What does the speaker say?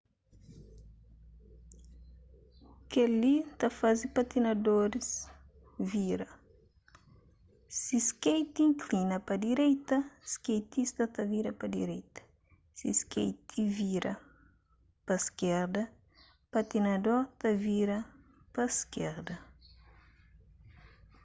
kel-li ta faze patinadoris vira si skeiti inklina pa direita skeitista ta vira pa direita si skeiti vira pa iskerda patinador ta vira pa iskerda